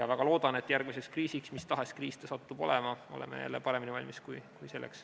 Väga loodan, et järgmiseks kriisiks, mis tahes kriis see satub olema, oleme jälle paremini valmis kui selleks.